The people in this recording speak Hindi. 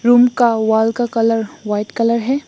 रूम का वॉल का कलर व्हाइट कलर है।